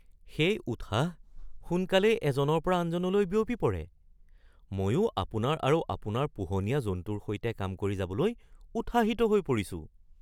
সেই উৎসাহ সোনকালেই এজনৰ পৰা আনজনলৈ বিয়পি পৰে! ময়ো আপোনাৰ আৰু আপোনাৰ পোহনীয়া জন্তুৰ সৈতে কাম কৰি যাবলৈ উৎসাহিত হৈ পৰিছো।